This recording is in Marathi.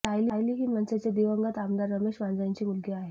सायली ही मनसेचे दिवंगत आमदार रमेश वांजळेंची मुलगी आहे